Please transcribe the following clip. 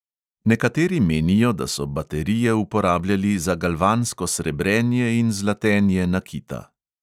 Nekateri menijo, da so baterije uporabljali za galvansko srebrenje in zlatenje nakita.